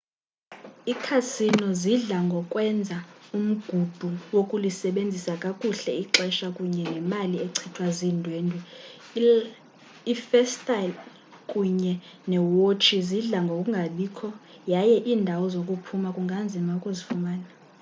ikhasino zidla ngokwenza umgudu wokulisebenzisa kakuhle ixesha kunye nemali echithwa ziindwendwe iifestile kunye neewotshi zidla ngokungabikho yaye iindawo zokuphuma kunganzima ukuzifumana